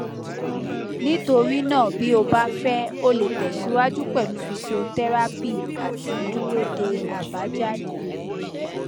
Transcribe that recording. nítorí náà bí o bá fẹ o lè tẹsíwájú pẹlú fíṣíọtẹrápì àti dúró de àbájáde